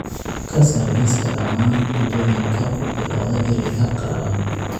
ka saar liiska dhammaan cuntooyinka ku bilowda ereyga qallalan